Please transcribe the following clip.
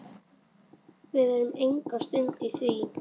Við erum enga stund að því.